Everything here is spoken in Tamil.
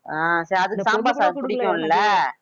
அஹ் சரி அதுக்கு சாம்பர் சாதம் புடிக்கும்ல